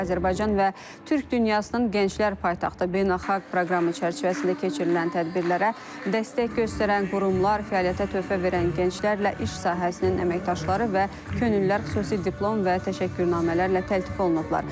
Azərbaycan və Türk dünyasının Gənclər Paytaxtı beynəlxalq proqramı çərçivəsində keçirilən tədbirlərə dəstək göstərən qurumlar, fəaliyyətə töhfə verən gənclərlə iş sahəsinin əməkdaşları və könüllülər xüsusi diplom və təşəkkürnamələrlə təltif olunublar.